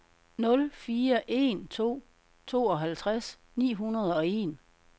nul fire en to tooghalvtreds ni hundrede og en